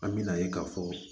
An me na ye ka fɔ